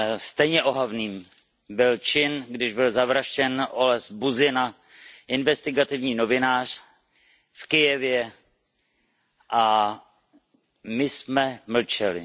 Stejně ohavný byl čin, když byl zavražděn Oles Buzyna, investigativní novinář v Kyjevě a my jsme mlčeli.